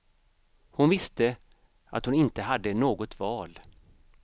Hon visste att hon inte hade något val.